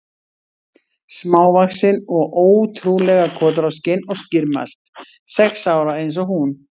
Smávaxin og ótrú- lega kotroskin og skýrmælt, sex ára eins og hún.